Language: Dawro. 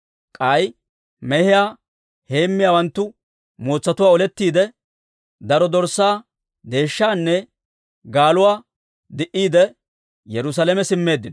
K'ay mehiyaa heemmiyaawanttu mootsatuwaa olettiide, daro dorssaa, deeshshaanne gaaluwaa di'iide, Yerusaalame simmeeddino.